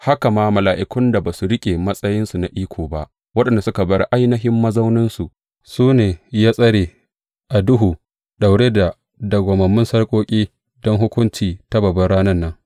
Haka ma mala’ikun da ba su riƙe matsayinsu na iko ba, waɗanda suka bar ainihin mazauninsu, su ne ya tsare a duhu daure da dawwammamun sarƙoƙi don hukunci ta babbar Ranan nan.